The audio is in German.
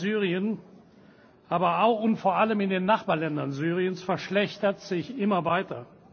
Die Lage in Syrien, aber auch und vor allem in den Nachbarländern Syriens, verschlechtert sich immer weiter.